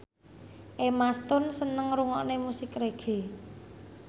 Emma Stone seneng ngrungokne musik reggae